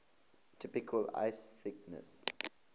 typical ice thickness